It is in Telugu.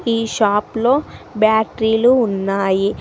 ఈ షాప్ లో బ్యాటరీ లు ఉన్నాయి.